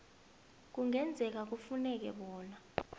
kungenzeka kufuneke bona